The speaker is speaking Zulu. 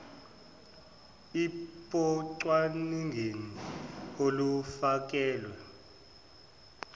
ip ocwaningeni olufakelwe